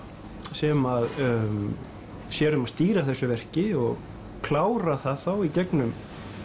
sem að sér um að stýra þessu verki og klára það þá í gegnum